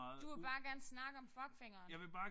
Du vil bare gerne snakke om fuckfingeren